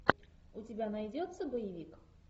у тебя найдется боевик